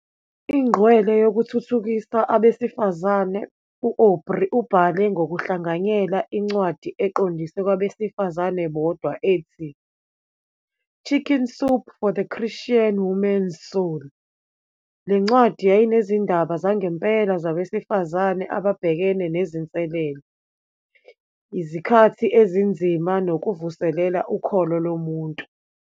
Ingqwele yokuthuthukisa abesifazane, u-Aubrey ubhale ngokuhlanganyela incwadi eqondiswe kwabesifazane bodwa ethi, "Chicken Soup for the Christian Woman's Soul." Le ncwadi yayinezindaba zangempela zabesifazane ababhekene nezinselele, izikhathi ezinzima nokuvuselela ukholo lomuntu.